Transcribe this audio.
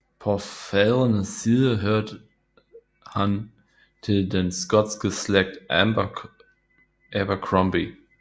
På fædrene side hørte han til den skotske slægt Abercromby